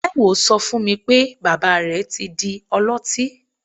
Taiye so fún mi pé, bàbá rẹ̀ ti di ọlọtí.